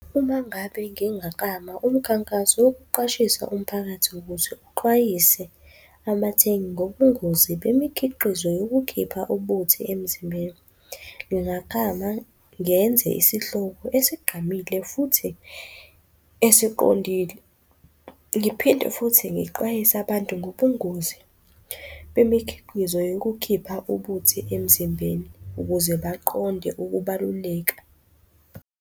Uma ngabe ngingaklama umkhankaso wokuqwashisa umphakathi ukuthi uxwayise abathengi ngobungozi bemikhiqizo yokukhipha ubuthi emzimbeni. Ngingaklama, ngenze isihloko esigqamile futhi esiqondile. Ngiphinde futhi ngixwayise abantu ngobungozi bemikhiqizo yokukhipha ubuthi emzimbeni ukuze baqonde ukubaluleka.